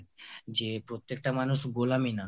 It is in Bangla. যে প্রত্যেকটা মানুষ গোলামী না